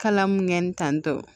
Kala mun kɛ ni tantɔ